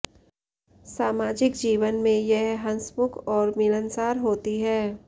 सामाजिक जीवन में यह हंसमुख और मिलनसार होती हैं